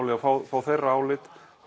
að fá fá þeirra álit og